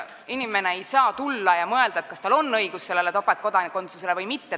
Inimene ei saa tulla ja mõelda, kas tal on õigus sellele topeltkodakondsusele või mitte.